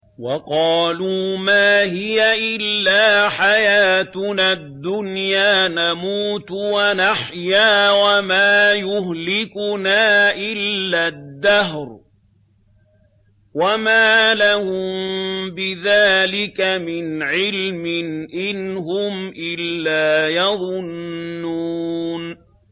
وَقَالُوا مَا هِيَ إِلَّا حَيَاتُنَا الدُّنْيَا نَمُوتُ وَنَحْيَا وَمَا يُهْلِكُنَا إِلَّا الدَّهْرُ ۚ وَمَا لَهُم بِذَٰلِكَ مِنْ عِلْمٍ ۖ إِنْ هُمْ إِلَّا يَظُنُّونَ